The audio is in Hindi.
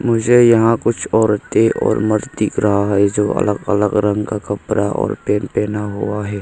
मुझे यहां कुछ औरतें और मर्द दिख रहा है जो अलग अलग रंग का कपड़ा और पेंट पहना हुआ है।